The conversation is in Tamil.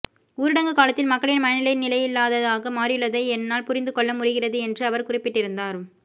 ஊரடங்கு காலத்தில் மக்களின் மனநிலை நிலையில்லாததாக மாறியுள்ளதை என்னால் புரிந்துகொள்ள முடிகிறது என்று அவர் குறிப்பிட்டிருந்தார்